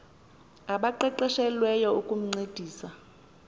abaqeqeshe lweyo ukuncedisa